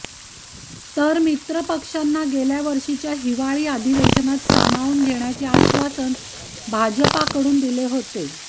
तर मित्रपक्षांना गेल्या वर्षीच्या हिवाळी अधिवेशनात सामावून घेण्याचे आश्वासन भाजपाकडून दिले होते